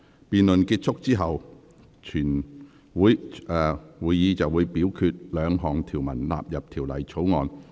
辯論結束後，會表決該兩項條文納入《條例草案》。